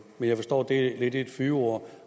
men jeg forstår at det er lidt et fyord